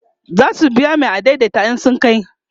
zasu biya Mai adaidaita in sun kai